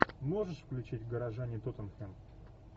можешь включить горожане тоттенхэм